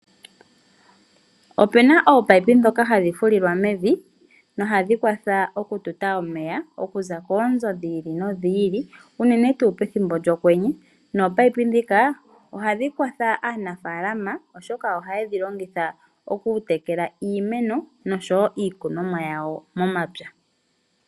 Ope na ominino dhoka hadhi fulilwa mevi nohadhi kwatha okututa omeya okuza koonzo dhi ili nodhi ili unene pethimbo lyokwenye. Nominino dhika ohadhi kwatha aanafalama oshoka ohaye dhi longitha okutekela iimeno oshowo iikunomwa yawo momapya.